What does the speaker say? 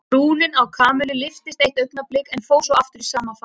Brúnin á Kamillu lyftist eitt augnablik en fór svo aftur í sama farið.